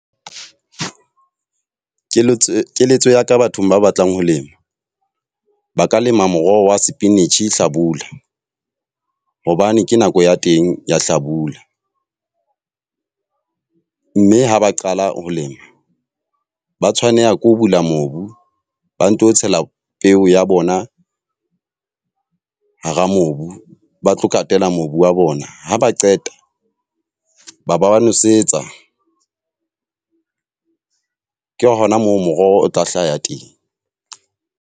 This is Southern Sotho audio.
Keletso, keletso ya ka bathong ba batlang ho lema. Ba ka lema moroho wa spinach hlabula. Hobane ke nako ya teng ya hlabula. Mme ha ba qala ho lema, ba tshwanela ke ho bula mobu, ba nto tshela peo ya bona hara mobu ba tlo katela mobu wa bona. Ha ba qeta, ba ba nosetsa. Ke hona moo moroho o tla hlaha ya teng.